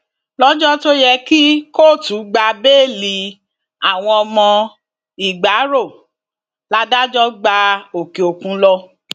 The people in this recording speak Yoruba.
lọjọ tó yẹ kí kóòtù gba bẹẹlí àwọn ọmọ ìgbárò ládájọ gba òkè òkun lọ